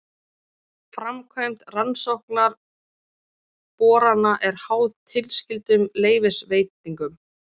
Framkvæmd rannsóknarborana er háð tilskyldum leyfisveitingum